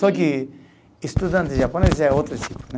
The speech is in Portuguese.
Só que estudante japonês é outro